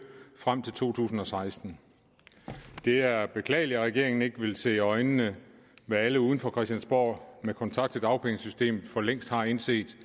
frem til to tusind og seksten det er beklageligt at regeringen ikke vil se i øjnene hvad alle uden for christiansborg med kontakt til dagpengesystemet for længst har indset